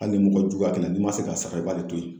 Hali ni mɔgɔ jugu a kɛ na n'i ma se k'a sara i b'ale to ye.